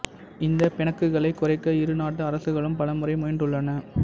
இந்தப் பிணக்குகளைக் குறைக்க இரு நாட்டு அரசுகளும் பலமுறை முயன்றுள்ளன